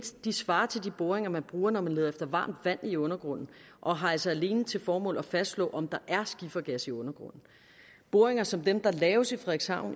svarer til de boringer man bruger når man leder efter varmt vand i undergrunden og har altså alene til formål at fastslå om der er skifergas i undergrunden boringer som dem der laves